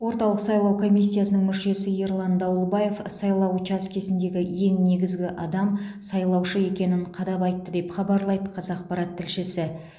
орталық сайлау комиссиясының мүшесі ерлан дауылбаев сайлау учаскесіндегі ең негізгі адам сайлаушы екенін қадап айтты деп хабарлайды қазақпарат тілшісі